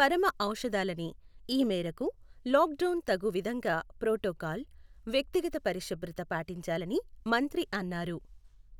పరమఔషధాలని, ఈ మేరకు lockdown తగు విధంగా ప్రోటోకాల్, వ్యక్తిగత పరిశుభ్రత పాటించాలని మంత్రి అన్నారు.